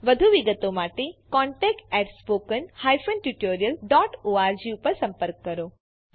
વધુ વિગતો માટે contact at spoken hyphen tutorial dot org પર સંપર્ક કરો